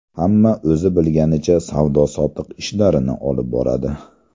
Hamma o‘zi bilganicha savdo-sotiq ishlarini olib boradi.